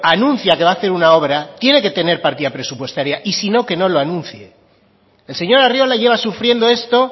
anuncia que va a hacer una obra tiene que tener partida presupuestaria y si no que no lo anuncie el señor arriola lleva sufriendo esto